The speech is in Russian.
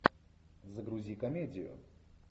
загрузи комедию